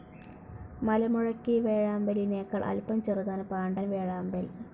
മലമുഴക്കി വേഴാമ്പലിനേക്കാൾ അല്പം ചെറുതാണ് പാണ്ടൻ വേഴാമ്പൽ.